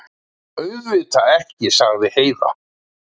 Auðvitað ekki, sagði Heiða.